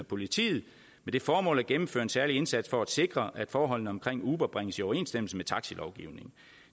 politiet med det formål at gennemføre en særlig indsats for at sikre at forholdene omkring uber bringes i overensstemmelse med taxilovgivningen